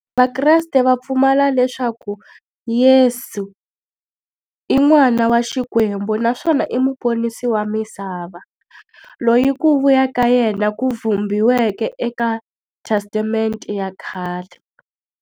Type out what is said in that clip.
Vakreste va pfumela leswaku Yesu i n'wana wa Xikwembu naswona i muponisi wa misava, loyi ku vuya ka yena ku vhumbiweke eka Testamente ya khale.